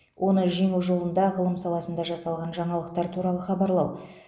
оны жеңу жолында ғылым саласында жасалған жаңалықтар туралы хабарлау